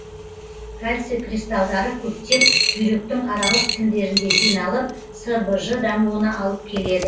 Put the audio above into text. кальций кристалдары көптеп бүйректің аралық тіндерінде жиналып сбж дамуына алып келеді